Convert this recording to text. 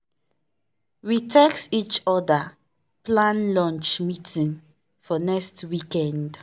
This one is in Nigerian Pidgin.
we text each other plan lunch meeting for next weekend.